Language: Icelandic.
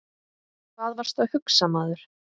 Hvað varstu að hugsa maður?